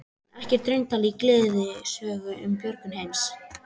En ekkert raunatal í gleðisögu um björgun heimsins.